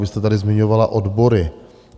Vy jste tady zmiňovala odbory.